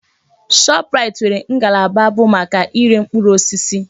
Shọpraịt nwere ngalaba bụ maka iré mkpụrụ osisi.